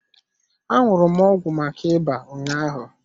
Aṅụrụ m ọgwụ maka ịba ụnyaahụ.